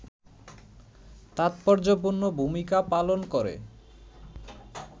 তাৎপর্যপূর্ণ ভূমিকা পালন করে